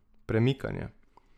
Premikanje.